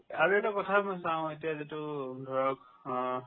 আৰু এটা কথা মই চাও এতিয়া যিটো ধৰক অ